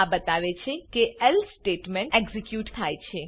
આ બતાવે છે કે એલ્સે સ્ટેટમેન્ટ એક્ઝીક્યુટ થાય છે